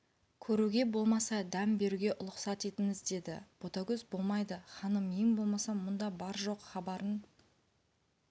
көруге болмаса дәм беруге ұлықсат етіңіз деді ботагөз болмайды ханым ең болмаса мұнда бар жоқ хабарын